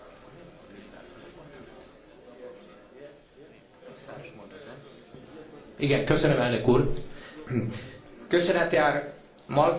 Köszönet jár Malmström asszonynak és Alvaro úrnak a jelentésért. Örülhetünk, hogy előrelépés történt ebben a számunkra annyira fontos, de sokat vitatott szerződésben.